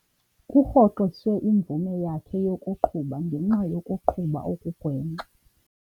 Kurhoxiswe imvume yakhe yokuqhuba ngenxa yokuqhuba okugwenxa.